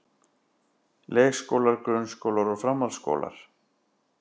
Leikskólar, grunnskólar og framhaldsskólar.